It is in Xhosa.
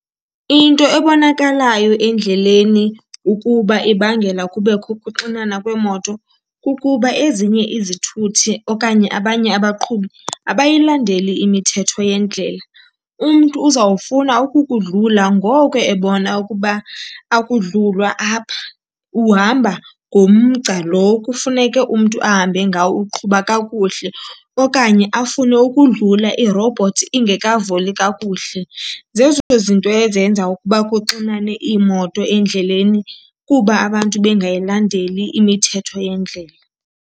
Into ebonakalayo endleleni ukuba ibangela kubekho ukuxinana kweemoto kukuba ezinye izithuthi okanye abanye abaqhubi abayilandeli imithetho yendlela. Umntu uzawufuna ukukudlula ngoku ebona ukuba akudlulwa apha, uhamba ngomgca lo kufuneke umntu ahambe ngawo, uqhuba kakuhle. Okanye afune ukudlula irobhothsi ingekavuli kakuhle. Zezo zinto ezenza ukuba kuxinane iimoto endleleni, kuba abantu bengayilandeli imithetho yendlela.